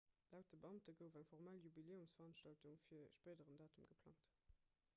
laut de beamte gouf eng formell jubiläumsveranstaltung fir e spéideren datum geplangt